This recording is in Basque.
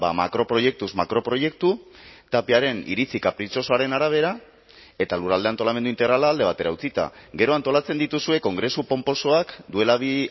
makroproiektuz makroproiektu tapiaren iritzi kapritxosoaren arabera eta lurralde antolamendu integrala alde batera utzita gero antolatzen dituzue kongresu ponposoak duela bi